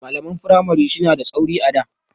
Malaman firamari suna da tsauri sosai a da.